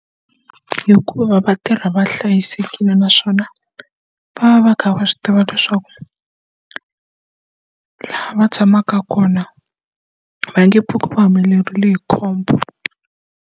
Hikuva vatirhi va hlayisekile naswona va va va kha va swi tiva leswaku laha va tshamaka kona va nge pfuki va humelerile hi khombo.